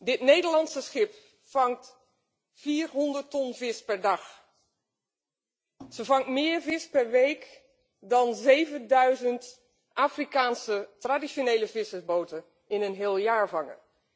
Dit Nederlandse schip vangt 400 ton vis per dag. Het vangt meer vis per week dan 7000 Afrikaanse traditionele vissersboten in een heel jaar vangen.